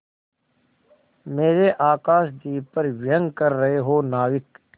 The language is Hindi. मेरे आकाशदीप पर व्यंग कर रहे हो नाविक